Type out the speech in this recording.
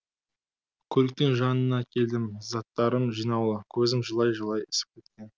көліктің жанына келдім заттырым жинаулы көзім жылай жылай ісіп кеткен